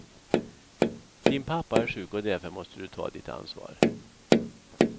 Din pappa är sjuk och därför måste du ta ditt ansvar.